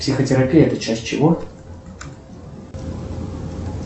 психотерапия это часть чего